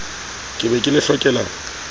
ke be ke le hlokela